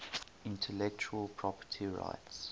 intellectual property rights